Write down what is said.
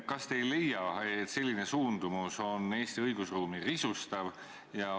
Kas te ei leia, et selline suundumus risustab Eesti õigusruumi?